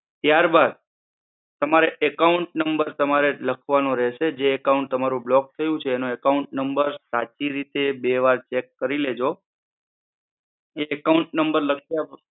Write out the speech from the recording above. ત્યારબાદ, તમારે account number તમાંરે લખવાનું રહેશે. જે account તમારું block થયું છે એનો account number સાચી રીતે બે વાર check કરી લેજો. એ account number લખતા.